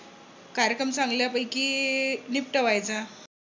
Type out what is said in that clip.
कार्यक्रम चांगल्यापैकी निपटवायचा.